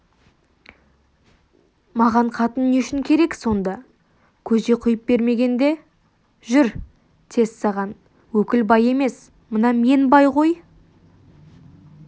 маған қатын не үшін керек сонда көже құйып бермегенде жүр тез саған өкіл бай емес мына мен бай ғой